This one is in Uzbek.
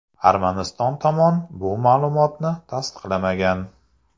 Armaniston tomon bu ma’lumotni tasdiqlamagan.